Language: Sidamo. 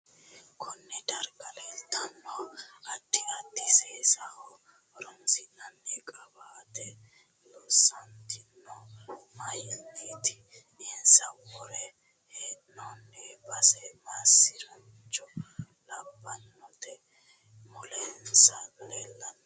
Konne darga leeltanno addi addi seesaho horoonsinaani qiwaate loosantinohu mayiiniti insa wore heenooni base masricho labbanote mulensa leelanno mini hiitooho